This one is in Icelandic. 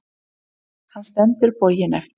Hann stendur boginn eftir